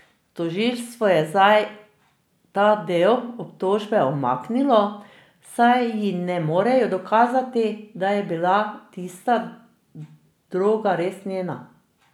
Tožilstvo je zdaj ta del obtožbe umaknilo, saj ji ne morejo dokazati, da je bila tista droga res njena.